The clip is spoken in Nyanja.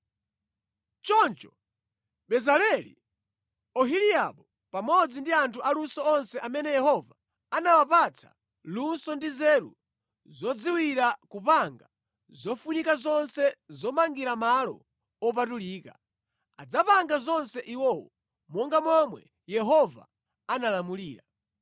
Choncho Bezaleli, Oholiabu pamodzi ndi anthu aluso onse amene Yehova anawapatsa luso ndi nzeru zodziwira kupanga zofunika zonse zomangira malo opatulika, adzapanga zonse iwowo, monga momwe Yehova analamulira.”